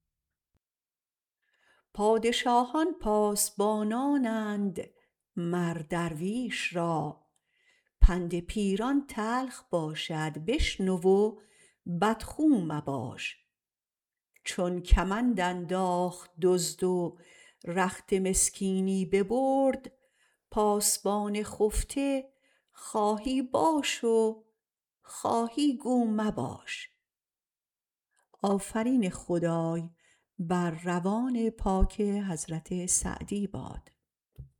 پادشاهان پاسبانانند مر درویش را پند پیران تلخ باشد بشنو و بدخو مباش چون کمند انداخت دزد و رخت مسکینی ببرد پاسبان خفته خواهی باش و خواهی گو مباش